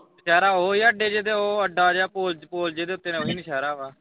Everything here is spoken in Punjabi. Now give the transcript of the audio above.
ਨੌਸ਼ਹਿਰਾ ਓਹੀ ਆ ਅੱਡੇ ਜੇ ਤੇ ਓਹ ਅੱਡਾ ਜਾ ਪੁਲ ਪੁਲ ਜੇ ਤੇ ਉਤੇ ਉਹੀ ਨੌਸ਼ਹਿਰਾ ਵਾ।